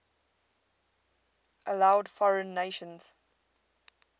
allowed foreign nations